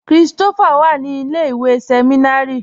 Kristofá wà ní ilẹ̀-ìwé sẹmìnárì